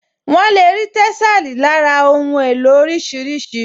Wọ́n lè rí tẹ́sàlí lára àwọn ohun èlò oríṣiríṣi